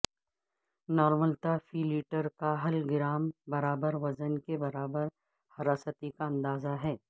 نارملتا فی لیٹر کا حل گرام برابر وزن کے برابر حراستی کا اندازہ ہے